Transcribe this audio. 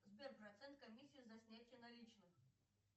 сбер процент комиссии за снятие наличных